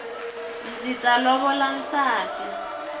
ndzi ta lovola nsati